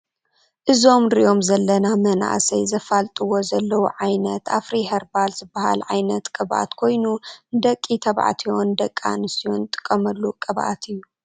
እዞም ንርኦም ዘለና መናእሰይ ዘፋልጥዎ ዘለው ዓይነት አፍሪ ከርባል ዝበሃል ዓይነት ቅብአት ኮይኑ ንደቂ ተባዕትዮን ደቂ አነትዮ ንጥቀመሉ ቅብአት እዮ ።